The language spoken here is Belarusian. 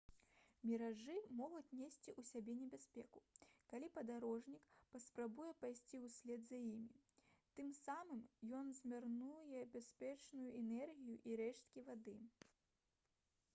міражы могуць несці ў сабе небяспеку калі падарожнік паспрабуе пайсці ўслед за імі тым самым ён змарнуе бясцэнную энергію і рэшткі вады